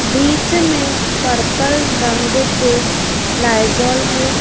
बीच में पर्पल रंग के लाईजोल है।